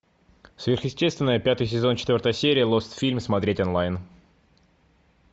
сверхъестественное пятый сезон четвертая серия лостфильм смотреть онлайн